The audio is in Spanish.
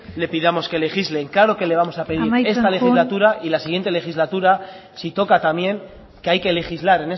le pidamos que legislen claro que le vamos a pedir esta legislatura amaitzen joan y la siguiente legislatura si toca también que hay que legislar